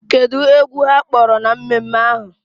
Kedụ egwu ha kpọrọ na mmemme ahụ?